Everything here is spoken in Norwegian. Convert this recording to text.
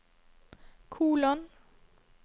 kolon